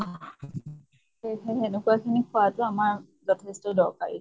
সেই হেনেকুৱা খিনি খোৱাটো আমাৰ যথেষ্ট দৰকাৰী।